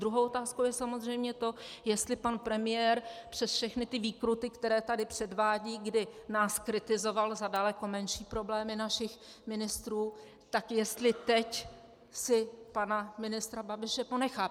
Druhou otázkou je samozřejmě to, jestli pan premiér přes všechny ty výkruty, které tady předvádí, kdy nás kritizoval za daleko menší problémy našich ministrů, tak jestli teď si pana ministra Babiše ponechá.